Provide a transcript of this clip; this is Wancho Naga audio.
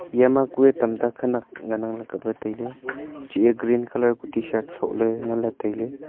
eya ma kuye tam ta khanyak ngan nang ley kaple tailey chih ye green colour kuh tshirt so le ngan ley tailey.